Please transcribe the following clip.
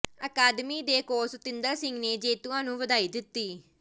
ਅਕਾਦਮੀ ਦੇ ਕੋਚ ਸਤਿੰਦਰ ਸਿੰਘ ਨੇ ਜੇਤੂਆਂ ਨੂੰ ਵਧਾਈ ਦਿੱਤੀ